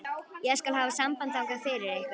Ég skal hafa samband þangað fyrir ykkur.